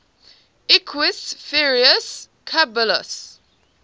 equus ferus caballus